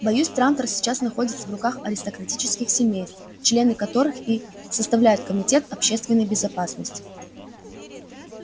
боюсь трантор сейчас находится в руках аристократических семейств члены которых и составляют комитет общественной безопасности